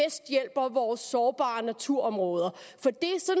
vores mest sårbare naturområder